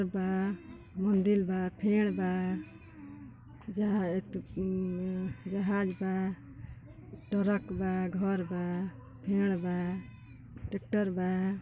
बा मंदिर बा फेड बा जहा बा ट्रक बा घर बा फेड बा ट्रैक्ट्रर बा।